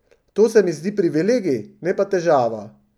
To se mi zdi privilegij, ne pa težava.